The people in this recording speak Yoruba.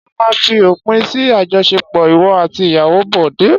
Ṣé ó máa fi òpin sí àjọṣepọ̀ ìwọ àti ìyàwó Bọ̀dé?